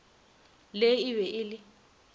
le e be e le